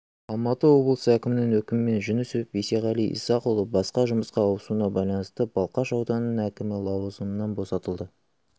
алматы облысы әкімінің өкімімен жүнісов бейсеғали исақұлы басқа жұмысқа ауысуына байланысты балқаш ауданының әкімі лауазымынан босатылды